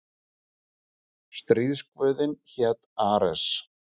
Stríðsguðinn hét Ares.